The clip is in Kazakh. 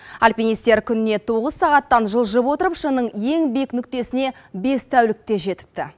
альпинистер күніне тоғыз сағаттан жылжып отырып шыңның ең биік нүктесіне бес тәулікте жетіпті